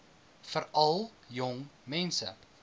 veral jong mense